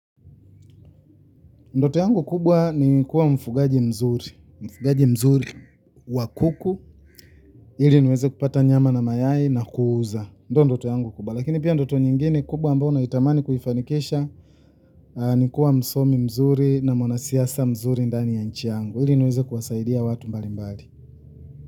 Ndoto yangu kubwa ni kuwa mfugaji mzuri mfugaji mzuri wa kuku ili niweze kupata nyama na mayai na kuuza ndio ndoto yangu kubwa lakini pia ndoto nyingine kubwa ambayo naitamani kuifanikisha ni kuwa msomi mzuri na mwanasiasa mzuri ndani ya nchi yangu ili niweze kuwasaidia watu mbalimbali.